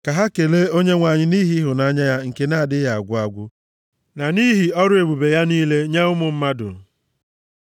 Ka ha kelee Onyenwe anyị nʼihi ịhụnanya ya nke na-adịghị agwụ agwụ na nʼihi ọrụ ebube ya niile nye ụmụ mmadụ.